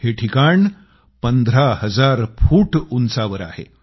हे ठिकाण 15 हजार फूट उंचावर आहे